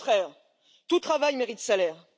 Au contraire, tout travail mérite salaire!